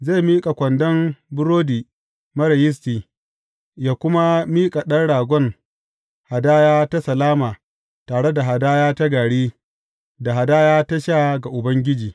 Zai miƙa kwandon burodi marar yisti, yă kuma miƙa ɗan ragon hadaya ta salama tare da hadaya ta gari, da hadaya ta sha ga Ubangiji.